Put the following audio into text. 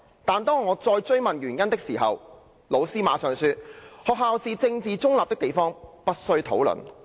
'但是，當我再追問原因的時候，老師馬上說：'學校是政治中立的地方，不需討論。